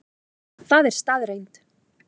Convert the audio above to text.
Það er staðreynd